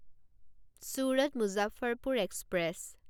Surat Muzaffarpur express